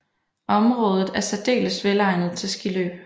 Området er særdeles velegnet til skiløb